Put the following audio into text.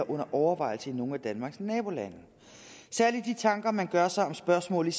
under overvejelse i nogle af danmarks nabolande særlig de tanker man gør sig om spørgsmålet